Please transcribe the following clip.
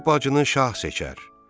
Böyük bacını şah seçər.